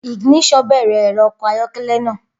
Ignition bẹ̀rẹ̀ ẹ̀rọ ọkọ̀ ayọ́kẹ́lẹ́ náà.